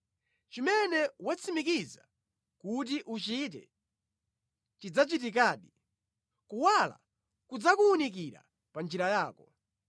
Chimene watsimikiza kuti uchite, chidzachitikadi, kuwala kudzakuwunikira pa njira yako.